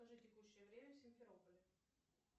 покажи текущее время в симферополе